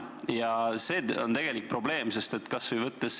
Ja see on tegelik probleem.